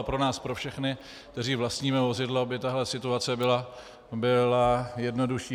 A pro nás pro všechny, kteří vlastníme vozidlo, by tahle situace byla jednodušší.